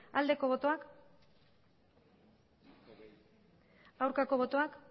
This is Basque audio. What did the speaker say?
bozka dezakegu aldeko botoak aurkako botoak